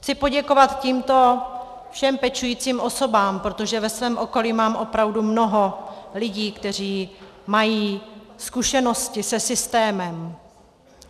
Chci poděkovat tímto všem pečujícím osobám, protože ve svém okolí mám opravdu mnoho lidí, kteří mají zkušenosti se systémem.